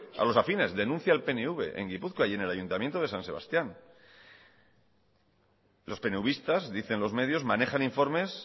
a los afines denuncia el pnv en gipuzkoa y en el ayuntamiento de san sebastián los peneuvistas dicen los medios manejan informes